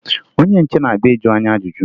Onye nche na-abịa ịjụ anyị ajụjụ